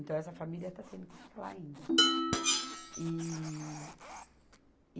Então, essa família está tendo que ficar lá ainda. E